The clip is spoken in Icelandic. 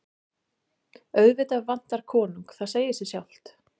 Auðvitað vantar konung, það segir sig sjálft.